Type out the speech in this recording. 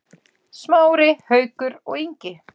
Smári, Haukur og Ingi.